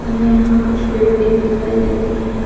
हमे यहाँ कुछ पेड़ भी दिखाई दे रहे है।